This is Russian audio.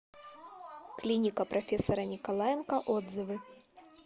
клиника профессора николаенко отзывы